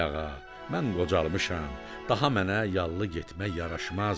Ay ağa, mən qocalmışam, daha mənə yallı getmək yaraşmaz.